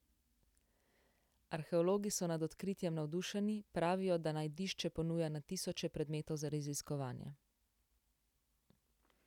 Arheologi so nad odkritjem navdušeni, pravijo, da najdišče ponuja na tisoče predmetov za raziskovanje.